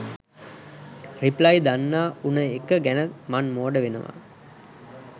reply දන්නා උන එක ගැන මන් මෝඩ වෙනවා